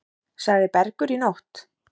Sagði Bergur í nótt.